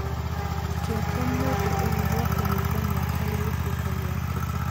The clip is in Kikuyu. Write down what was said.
Kĩyo kĩa mũndũ ũyũ gĩa kũnyihia mĩaka gĩgĩtuĩka gĩa tũhũ